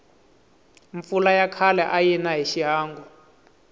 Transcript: mpfula ya khale ayina hi xihangu